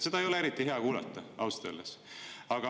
Seda ei ole eriti hea kuulata, ausalt öeldes.